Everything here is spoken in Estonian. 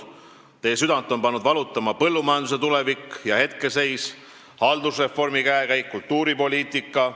Teie südant on pannud valutama põllumajanduse tulevik ja hetkeseis, haldusreformi käekäik ja kultuuripoliitika.